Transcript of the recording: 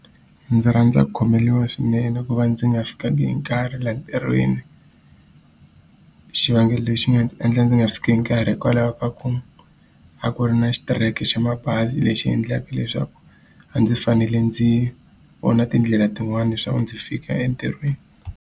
Ndzi rhandza ku khomeriwa swinene ku va ndzi nga fikangi hi nkarhi laha ntirhweni. Xivangelo lexi nga ndzi endla ndzi nga fiki hi nkarhi hikwalaho ka ku, a ku ri na xitereko xa mabazi lexi endlaka leswaku a ndzi fanele ndzi vona tindlela tin'wani leswaku ndzi fika entirhweni.